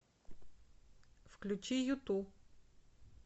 включи юту